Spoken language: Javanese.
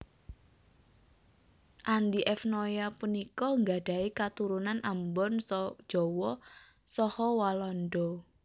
Andy F Noya punika nggadhahi katurunan Ambon Jawa saha Walanda